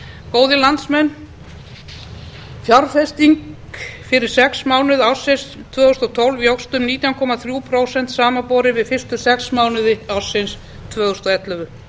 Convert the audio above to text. góðir landsmenn fjárfesting fyrstu sex mánuði ársins tvö þúsund og tólf jókst um nítján komma þrjú prósent samanborið við fyrstu sex mánuði ársins tvö þúsund og ellefu